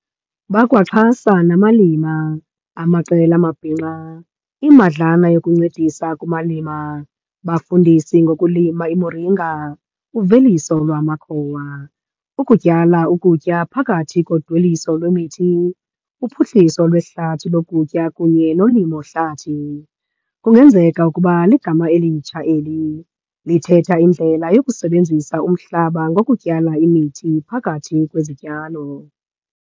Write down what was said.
Bakwaxhasa namalima, amaqela amabhinqa, imadlana yokuncedisa kumalima, bafundisi ngokulima imoringa, uveliso lamakhowa, ukutyala ukutya phakathi kodweliso lwemithi, uphuhliso lwehlathi lokutya kunye nolimo-hlathi, "kungenzeka ukuba ligama elitsha eli, lithetha indlela yokusebenzisa umhlaba ngokutyala imithi pakathi kwezityalo".